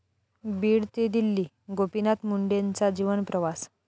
बीड ते दिल्ली...गोपीनाथ मुंडेंचा जीवनप्रवास!